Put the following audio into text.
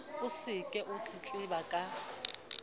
o se o tletleba ka